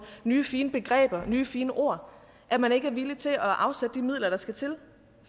nye fine begreber nye fine ord at man ikke er villig til at afsætte de midler der skal til